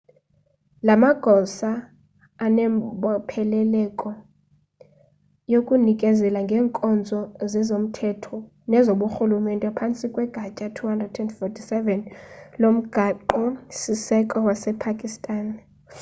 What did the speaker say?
la magosa anembopheleleko yokunikezela ngeenkonzo zezomthetho nezoburhulumente phantsi kwegatya 247 lomgaqo siseko wasepakistan